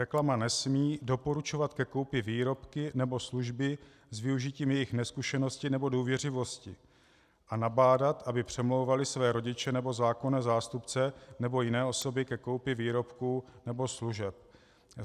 Reklama nesmí doporučovat ke koupi výrobky nebo služby s využitím jejich nezkušenosti nebo důvěřivosti a nabádat, aby přemlouvaly své rodiče nebo zákonné zástupce nebo jiné osoby ke koupi výrobků nebo služeb.